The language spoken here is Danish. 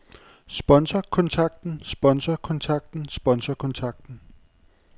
sponsorkontakten sponsorkontakten sponsorkontakten